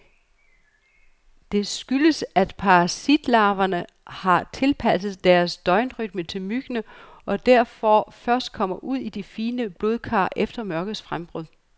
Det skyldes, at parasitlarverne har tilpasset deres døgnrytme til myggene, og derfor først kommer ud i de fine blodkar efter mørkets frembrud.